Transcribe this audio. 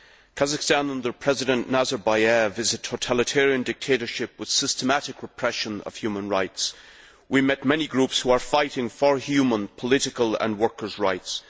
Kazakhstan, under President Nazarbayev, is a totalitarian dictatorship with the systematic repression of human rights. We met many groups who are fighting for human, political and workers' rights.